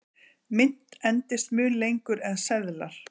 mynt endist mun lengur en seðlar